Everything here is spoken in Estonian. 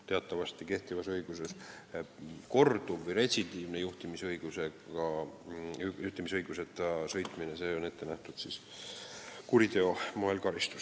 Teatavasti on kehtiva õiguse järgi korduva või retsidiivse juhtimisõiguseta sõitmise korral ette nähtud karistus kuriteo eest.